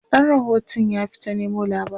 ɗan rahotun ya fita Nemo labarai